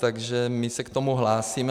Takže my se k tomu hlásíme.